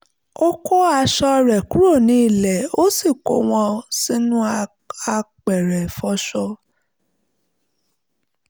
ó kó àwọn aṣọ rẹ̀ kúrò ní ilẹ̀ ó sì kó wọn sínú apẹ̀rẹ̀ ìfọṣọ